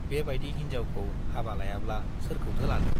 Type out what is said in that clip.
बेबाइदि हिन्जावखौ हाबा लायाब्ला सोरखौथो लानो।